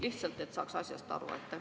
Lihtsalt, et saaks asjast aru.